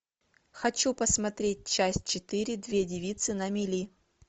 хочу посмотреть часть четыре две девицы на мели